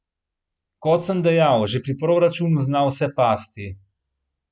Kot sem dejal, že pri proračunu zna vse pasti.